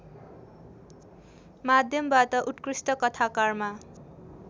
माध्यमबाट उत्कृष्ट कथाकारमा